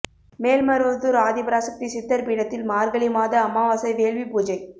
மேல்மருவத்தூா் ஆதிபராசக்தி சித்தா் பீடத்தில் மாா்கழி மாத அமாவாசை வேள்வி பூஜை